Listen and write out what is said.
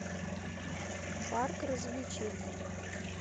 парк развлечений